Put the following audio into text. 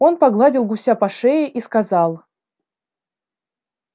он погладил гуся по шее и сказал